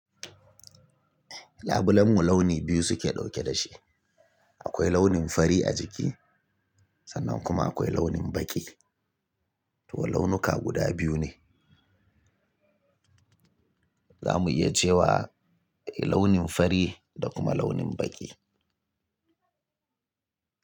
Labulen mu launi biyu suke dauke da shi, akwai launin fari a jiki. Sannan kuma akwai launin baƙi. To launuka guda biyu ne. Za muyi cewa launin fari da kuma launin baƙi.